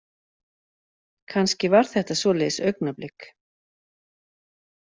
Kannski var þetta svoleiðis augnablik.